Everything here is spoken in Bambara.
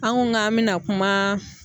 An ko k'an bɛna kumaaa